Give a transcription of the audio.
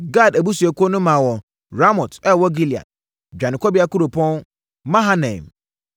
Gad abusuakuo no maa wɔn Ramot a ɛwɔ Gilead (dwanekɔbea kuropɔn), Mahanaim,